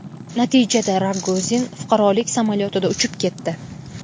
Natijada Rogozin fuqarolik samolyotida uchib ketdi.